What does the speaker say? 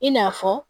I n'a fɔ